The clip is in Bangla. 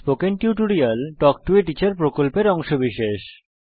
spoken tutorial talk to a teacher প্রকল্পের অংশবিশেষ